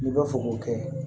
N'i bɛ fɛ k'o kɛ